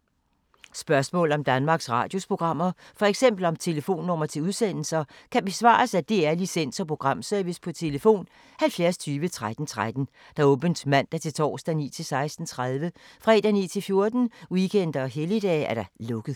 Spørgsmål om Danmarks Radios programmer, f.eks. om telefonnumre til udsendelser, kan besvares af DR Licens- og Programservice: tlf. 70 20 13 13, åbent mandag-torsdag 9.00-16.30, fredag 9.00-14.00, weekender og helligdage: lukket.